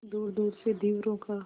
दूरदूर से धीवरों का